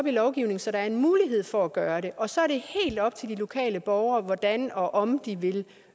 i lovgivningen så der er en mulighed for at gøre det og så er det helt op til de lokale borgere hvordan og om de vil